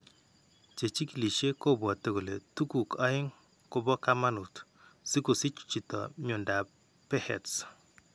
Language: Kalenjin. Chechikilishe kobwate kole tuguk aeng kobo kaamanut si kosich chiito myondap Behet's.